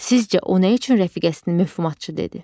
Sizcə o nə üçün rəfiqəsini mövhumatçı dedi?